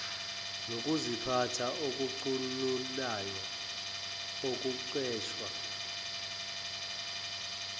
nokuziphatha okucunulayo okucetshwa